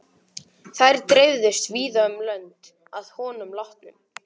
Þær dreifðust víða um lönd að honum látnum.